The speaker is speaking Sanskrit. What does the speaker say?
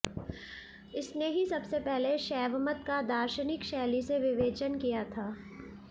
इसने ही सबसे पहले शैवमत का दार्शनिक शैली से विवेचन किया था